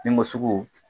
Nimosigi